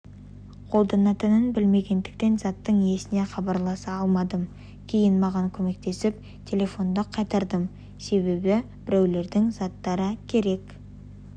қолданылатынын білмегендіктен заттың иесіне хабарласа алмадым кейін маған көмектесіп телефонды қайтардым себебі біреулердің заттары керек